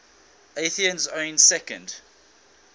athenians owning second